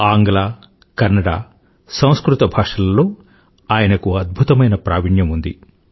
ఆంగ్ల కన్నడ సంస్కృత భాషలలో ఆయనకు అద్భుతమైన ప్రావీణ్యం ఉంది